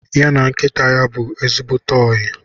Ya na nkịta bụ ezigbote oyi